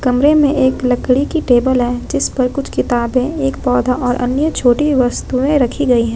कमरे में एक लकड़ी की टेबल है जिसपर कुछ किताबें एक पौधा और अन्य छोटी वस्तुएं रखी गई है।